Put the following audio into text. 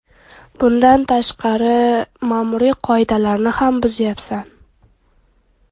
Bundan tashqari, ma’muriy qoidalarni ham buzyapsan.